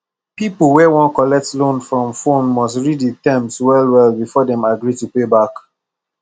people wey wan collect loan for phone must read the terms well well before dem agree to pay back